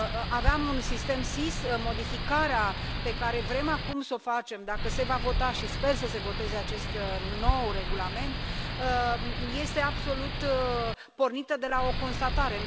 Aveam un sistem SIS, modificarea pe care vrem acum să o facem dacă se va vota și sper să se voteze acest nou regulament este absolut pornită de la o constatare.